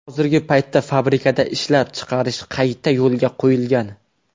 Hozirgi paytda fabrikada ishlab chiqarish qayta yo‘lga qo‘yilgan.